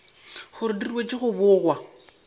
gore di ruetšwe go bogwa